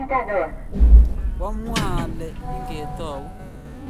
kwa mwa ale nge tau